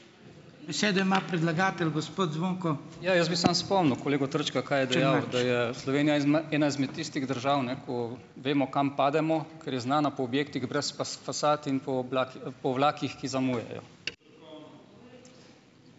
Ja, jaz bi samo spomnil kolego Trčka, kaj je dejal, da je Slovenija ena izmed tistih držav, ne, ko vemo, kam pademo, ker je znana po objektih brez fasad in po po vlakih, ki zamujajo.